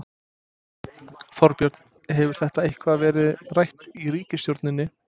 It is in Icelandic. Þorbjörn: Hefur þetta eitthvað verið rætt í ríkisstjórninni?